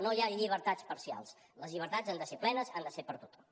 no hi ha llibertats parcials les llibertats han de ser plenes han de ser per a tothom